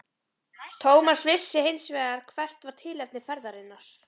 Thomas vissi hins vegar hvert var tilefni ferðarinnar.